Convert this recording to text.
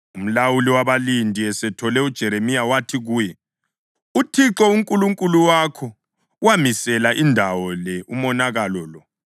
Umlawuli wabalindi esethole uJeremiya wathi kuye, “ UThixo uNkulunkulu wakho wamisela indawo le umonakalo lo.